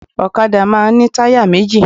Òkadá máa n ní táyà méjì